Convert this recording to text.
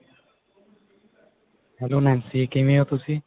hello Nancy ਕਿਵੇਂ ਓ ਤੁਸੀਂ